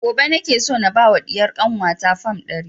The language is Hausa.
Gobe nake so na ba wa ɗiyar kanwa ta fam ɗari